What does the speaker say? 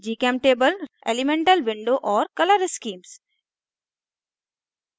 gchemtable elemental window और color schemes elemental window and color schemes